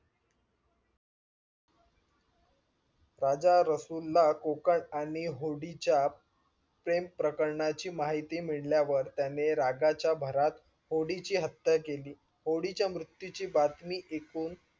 राजा रसूल ला कोकन आणि होडीच्या प्रेम प्रकारांची माहिती मिळाल्यावर त्याने रागाच्या भरत होडीची हत्या केली होडीच्या मृत्यू ची बातमी ऐकून